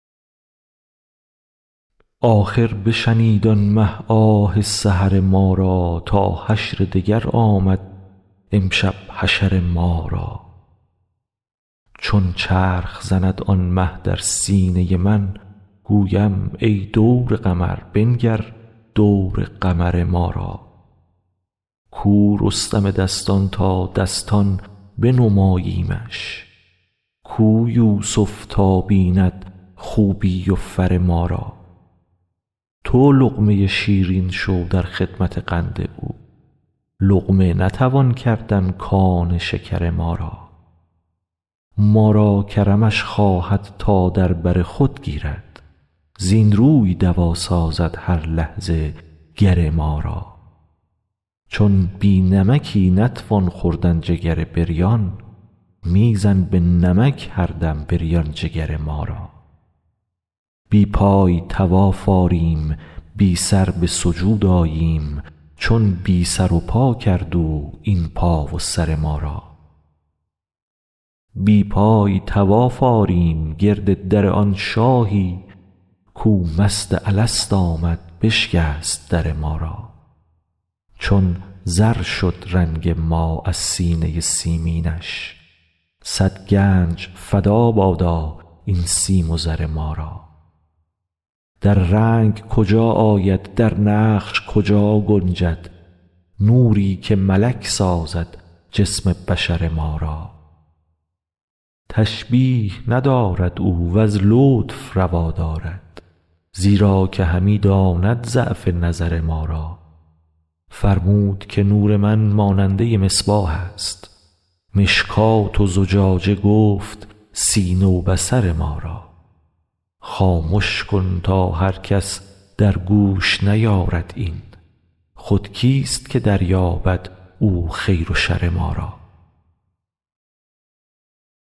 آخر بشنید آن مه آه سحر ما را تا حشر دگر آمد امشب حشر ما را چون چرخ زند آن مه در سینه من گویم ای دور قمر بنگر دور قمر ما را کو رستم دستان تا دستان بنماییمش کو یوسف تا بیند خوبی و فر ما را تو لقمه شیرین شو در خدمت قند او لقمه نتوان کردن کان شکر ما را ما را کرمش خواهد تا در بر خود گیرد زین روی دوا سازد هر لحظه گر ما را چون بی نمکی نتوان خوردن جگر بریان می زن به نمک هر دم بریان جگر ما را بی پای طواف آریم بی سر به سجود آییم چون بی سر و پا کرد او این پا و سر ما را بی پای طواف آریم گرد در آن شاهی کو مست الست آمد بشکست در ما را چون زر شد رنگ ما از سینه سیمینش صد گنج فدا بادا این سیم و زر ما را در رنگ کجا آید در نقش کجا گنجد نوری که ملک سازد جسم بشر ما را تشبیه ندارد او وز لطف روا دارد زیرا که همی داند ضعف نظر ما را فرمود که نور من ماننده مصباح است مشکات و زجاجه گفت سینه و بصر ما را خامش کن تا هر کس در گوش نیارد این خود کیست که دریابد او خیر و شر ما را